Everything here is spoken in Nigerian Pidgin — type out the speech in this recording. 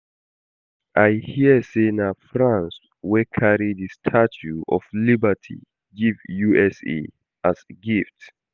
I hear say na France wey carry the Statue of Liberty give U.S.A as gift